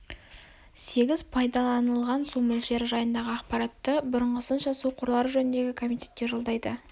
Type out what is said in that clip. сегіз пайдаланылған су мөлшері жайындағы ақпаратты бұрыңғысынша су қорлары жөніндегі комитетке жолдайды